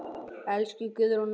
Elsku Guðrún okkar.